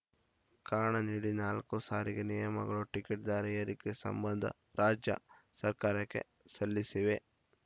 ಕಾರಣ ನೀಡಿ ನಾಲ್ಕು ಸಾರಿಗೆ ನಿಯಮಗಳು ಟಿಕೆಟ್‌ ದರ ಏರಿಕೆ ಸಂಬಂಧ ರಾಜ್ಯ ಸರ್ಕಾರಕ್ಕೆ ಸಲ್ಲಿಸಿವೆ